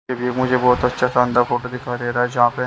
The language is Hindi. ये भी मुझे बहुत अच्छा अंडा फोटो दिखाई दे रहा हैजहाँ पे।